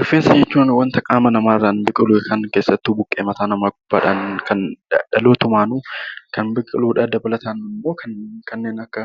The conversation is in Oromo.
Rifeensa jechuun waanta qaama namaa irraan biqilu keessattuu buqqee mataa namaa irraan dhalootumaan kan biqiludha. Dabalataan immoo kanneen akka